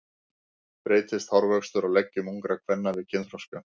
Breytist hárvöxtur á leggjum ungra kvenna við kynþroska?